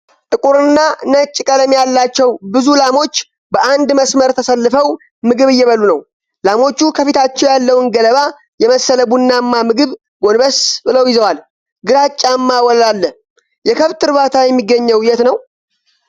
ጥቁር እና ነጭ ቀለም ያላቸው ብዙ ላሞች በአንድ መስመር ተሰልፈው ምግብ እየበሉ ነው። ላሞቹ ከፊታቸው ያለውን ገለባ የመሰለ ቡናማ ምግብ ጎንበስ ብለው ይዘዋል። ግራጫማ ወለል አለ። የከብት እርባታ የሚገኘው የት ነው?